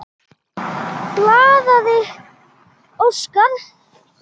Blaðið óskar